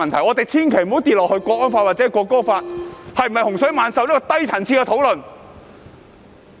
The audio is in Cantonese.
我們千萬不要墮入國安法或《條例草案》是否洪水猛獸如此低層次的討論。